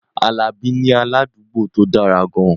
Alabi ní aládùúgbò tó dára gan-an